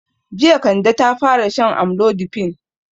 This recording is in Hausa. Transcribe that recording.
Jiya Kande ta fara shan amlodipine.